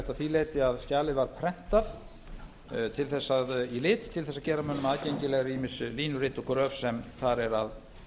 því leyti að skjalið var prentað í lit til þess að gera mönnum aðgengilegri ýmis línurit og gröf sem þar er að